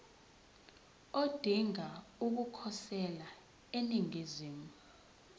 odinga ukukhosela eningizimu